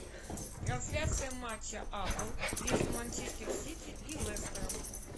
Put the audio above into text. трансляция матча апл между манчестер сити и лестером